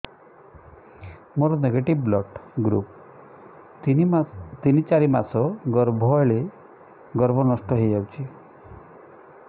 ମୋର negative blood group ତିନ ଚାରି ମାସ ଗର୍ଭ ହେଲେ ଗର୍ଭ ନଷ୍ଟ ହେଇଯାଉଛି